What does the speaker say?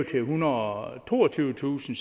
til ethundrede og toogtyvetusind